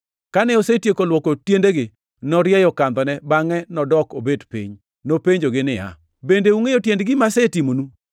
Kane osetieko luoko tiendegi, norieyo kandhone bangʼe nodok obet piny. Nopenjogi niya, “Bende ungʼeyo tiend gima asetimonuno?